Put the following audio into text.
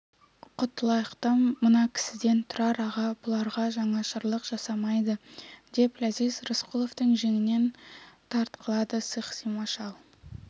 құтылайық та мына кісіден тұрар аға бұларға жанашырлық жарамайды деп ләзиз рысқұловтың жеңінен тартқылады сықсима шал